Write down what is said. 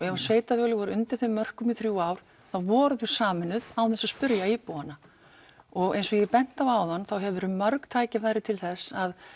ef að sveitarfélög voru undir þeim mörkum í þrjú ár þá voru þau sameinuð án þess að spurja íbúana eins og ég benti á áðan þá hafa verið mörg tækifæri til þess að